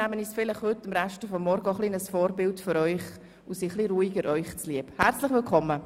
Nehmen Sie sich also kein Beispiel, um es auf Ihren Schulalltag zu übertragen!